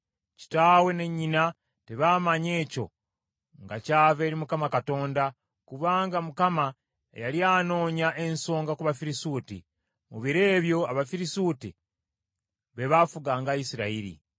Kitaawe ne nnyina tebaamanya ekyo nga kyava eri Mukama Katonda, kubanga Mukama yali anoonya ensonga ku Bafirisuuti. Mu biro ebyo Abafirisuuti be baafuganga Isirayiri.